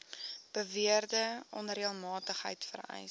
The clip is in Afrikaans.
beweerde onreëlmatigheid vereis